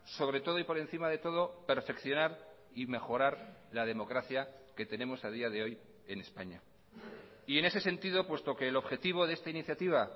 sobre todo y por encima de todo perfeccionar y mejorar la democracia que tenemos a día de hoy en españa y en ese sentido puesto que el objetivo de esta iniciativa